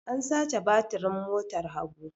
An sace batirin motar Habu.